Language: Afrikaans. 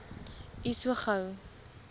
u so gou